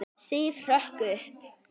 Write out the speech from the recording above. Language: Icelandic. Sif hrökk upp.